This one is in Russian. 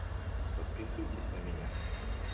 подписывайтесь на меня